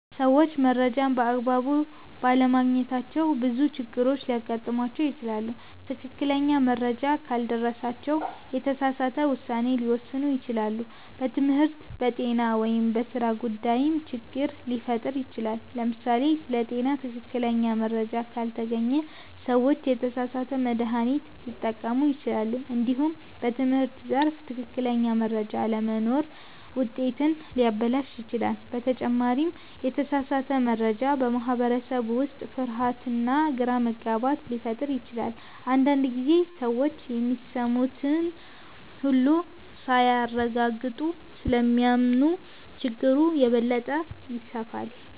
ሰዎች መረጃን በአግባቡ ባለማግኘታቸው ብዙ ችግሮች ሊያጋጥሟቸው ይችላሉ። ትክክለኛ መረጃ ካልደረሳቸው የተሳሳተ ውሳኔ ሊወስኑ ይችላሉ፣ በትምህርት፣ በጤና ወይም በሥራ ጉዳይም ችግር ሊፈጠር ይችላል። ለምሳሌ ስለ ጤና ትክክለኛ መረጃ ካልተገኘ ሰዎች የተሳሳተ መድሃኒት ሊጠቀሙ ይችላሉ። እንዲሁም በትምህርት ዘርፍ ትክክለኛ መረጃ አለመኖር ውጤትን ሊያበላሽ ይችላል። በተጨማሪም የተሳሳተ መረጃ በማህበረሰብ ውስጥ ፍርሃትና ግራ መጋባት ሊፈጥር ይችላል። አንዳንድ ጊዜ ሰዎች የሚሰሙትን ሁሉ ሳያረጋግጡ ስለሚያምኑ ችግሩ የበለጠ ይስፋፋል።